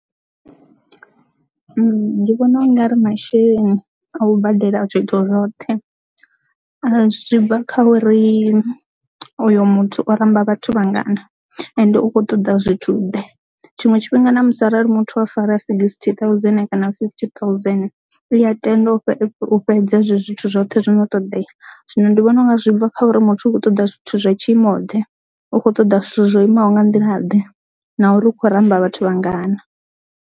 Ndi vhona ungari masheleni a u badela zwithu zwoṱhe zwi bva kha uri uyu muthu o ramba vhathu vhangana ende u kho ṱoḓa zwithu ḓe tshiṅwe tshifhinga na musi arali muthu a fara a songo sixty thousand kana fifty thousand i ya tenda u fhedza zwi zwithu zwoṱhe zwono ṱodea zwino ndi vhona unga zwi bva kha uri muthu u kho ṱoḓa zwithu zwa tshiimo ḓe u kho ṱoḓa zwithu zwo imaho nga nḓila ḓe na uri u khou ramba vhathu vhangana.